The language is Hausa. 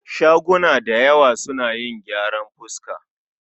Shaguna dayawa suna yin gyaran fuska